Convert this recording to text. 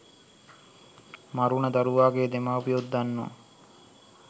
මරුන දරුවාගේ දෙමාපියොත් දන්නවා